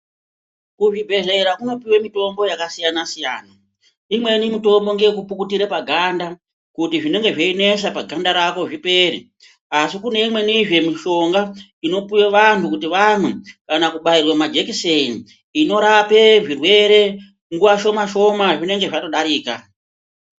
Kuzvibhendlera kunopuwa mitombo yakasiyana siyana. Imweni mitombo ngeyekupukutira paganda kuti zvinenge zveinesa paganda rako zvipere. Asi kune imwenizve mushonga inopuwa vantu kuti vamwe kana kubaiwa majikiseni inorapa zvirwere nguwa shoma shoma zvinenge zvatodarika.